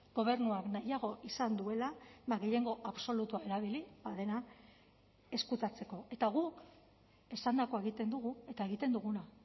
gobernuak nahiago izan duela gehiengo absolutua erabili ba dena ezkutatzeko eta guk esandakoa egiten dugu eta egiten duguna